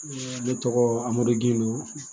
ne tɔgɔ amadu gindo